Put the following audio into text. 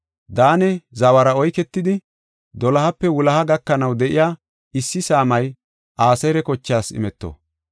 Daane zawara oyketidi, dolohape wuloha gakanaw de7iya issi saamay Aseera kochaas imeto.